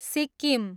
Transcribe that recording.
Sikkim